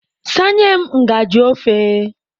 Sanye m ngajị ofe.